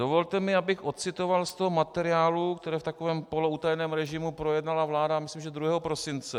Dovolte mi, abych odcitoval z toho materiálu, který v takovém poloutajeném režimu projednala vláda, myslím, že 2. prosince.